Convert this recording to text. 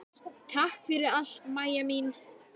Takk fyrir allt, Maja mín.